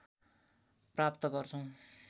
प्राप्त गर्छौं